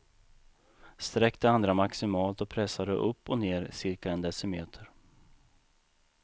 Sträck det andra maximalt och pressa det upp och ner cirka en decimeter.